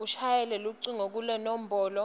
ushayele lucingo kulenombolo